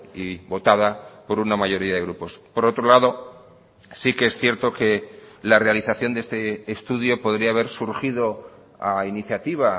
y votada por una mayoría de grupos por otro lado sí que es cierto que la realización de este estudio podría haber surgido a iniciativa